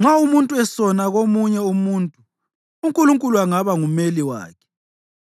Nxa umuntu esona komunye umuntu, uNkulunkulu angaba ngumeli wakhe